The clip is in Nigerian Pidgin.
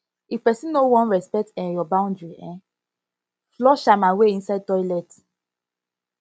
if pesin no wan respect um yur boundary um flush am away inside toilet